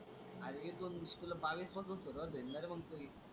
अरे एकोणवीस तुला बावीस पासून सुरुवात होईल ना रे मग तुझी.